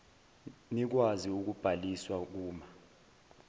nikwazi ukubhaliswa kuma